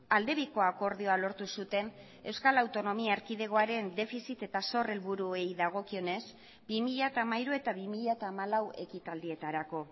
aldebiko akordioa lortu zuten euskal autonomia erkidegoaren defizit eta zor helburuei dagokionez bi mila hamairu eta bi mila hamalau ekitaldietarako